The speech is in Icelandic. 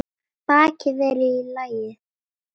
Bakið er í lagi.